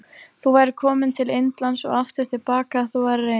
Þú værir komin til Indlands og aftur til baka ef þú værir ein.